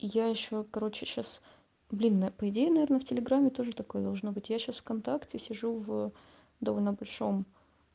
я ещё короче сейчас блин на по идее наверно в телеграмме тоже такой должно быть я сейчас вконтакте сижу в довольно большом